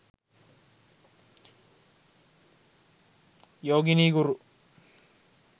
yogini guru